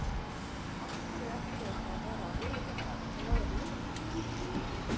Af hverju ætti þetta að vera auðveldara en aðrir leikir?